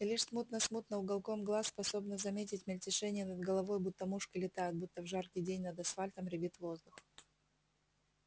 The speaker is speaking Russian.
и лишь смутно-смутно уголком глаз способна заметить мельтешение над головой будто мушки летают будто в жаркий день над асфальтом рябит воздух